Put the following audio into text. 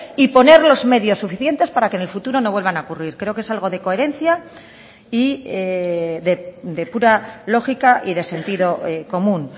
y poner los medios suficientes para que en el futuro no vuelvan a ocurrir creo que es algo de coherencia y de pura lógica y de sentido común